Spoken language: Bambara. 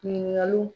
Ɲininkaliw